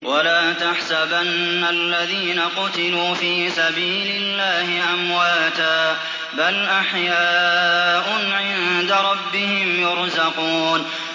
وَلَا تَحْسَبَنَّ الَّذِينَ قُتِلُوا فِي سَبِيلِ اللَّهِ أَمْوَاتًا ۚ بَلْ أَحْيَاءٌ عِندَ رَبِّهِمْ يُرْزَقُونَ